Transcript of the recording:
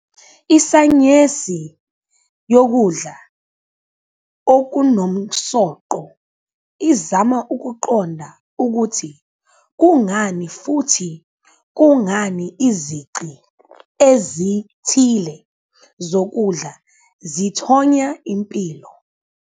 Isayensi yokudla okunomsoco izama ukuqonda ukuthi kungani futhi kungani izici ezithile zokudla zithonya impilo.